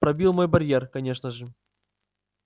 пробил мой барьер конечно же